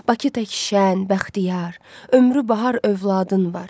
Bakı tək şən, bəxtiyar, ömrü bahar övladın var.